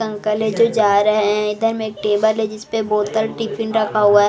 Uncle है जो जा रहे हैं इधर में एक टेबल है जिस पे बोतल टिफिन रखा हुआ है।